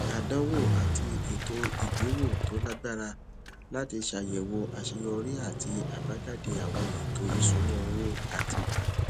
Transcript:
àdánwò àti ètò ìgbéwò tó lágbára láti ṣàyèwò àṣeyọrí àti àbájáde àwọn ètò ìṣúnná owó àti